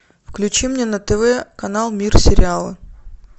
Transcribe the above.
включи мне на тв канал мир сериала